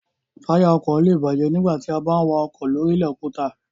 Táyà ọkọ̀ lé è bàjẹ́ nígbà tí a bá ń wa ọkọ̀ lóri ilẹ̀ òkúta